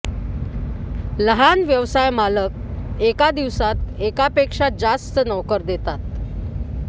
लहान व्यवसाय मालक एका दिवसात एकापेक्षा जास्त नोकर देतात